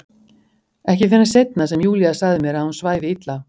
Ekki fyrr en seinna sem Júlía sagði mér að hún svæfi illa.